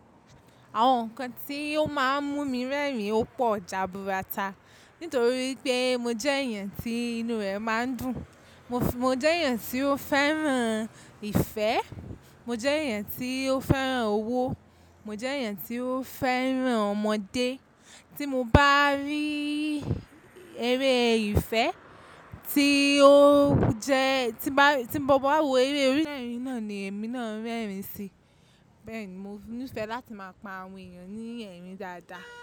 Àwọn nǹkan tí ó máa ń mú mi rẹ́rìn ó pọ̀ jaburata. Nítorí pé mo jẹ́ èèyàn tí inú rẹ̀ máa ń dùn. Mo jẹ́ èèyàn tí ó fẹ́ràn ìfẹ́. Mo jẹ́ èèyàn tí ó fẹ́ràn owó. Mo jẹ́ èèyàn tí ó fẹ́ràn ọmọdé. Tí mo bá rí eré ìfẹ́ tí ó jẹ, tí mo bá wo eré, eré náà ni èmi náà ń rẹ́rìn si. Bẹ́ẹ̀ ni mo ní ìfẹ́ láti máa pa àwọn èèyàn ní ẹ̀rín dáadáa.